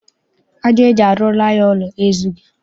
Aja eji arụrụ anyị ụlọ ezughị.